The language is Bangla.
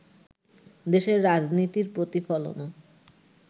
দেশের রাজনীতির প্রতিফলনও